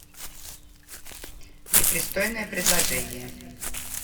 непристойное предложение